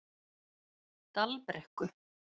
Dalbrekku